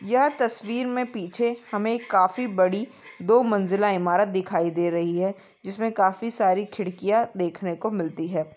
यह तस्वीर मे पीछे हमे काफी बड़ी दो मंज़िला इमारत दिखाई दे रही है जिसमे काफी सारी खिडकिया देखने को मिलती है।